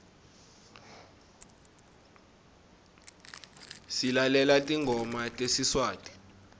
silalela tingoma tesiswati